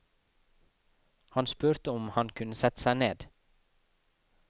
Han spurte om han kunne sette seg ned.